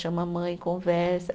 Chama a mãe, conversa.